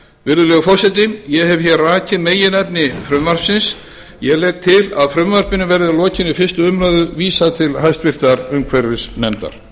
virðulegur forseti ég hef hér rakið meginefni frumvarpsins ég legg til að frumvarpinu verði að lokinni fyrstu umræðu vísað til hæstvirtrar umhverfisnefndar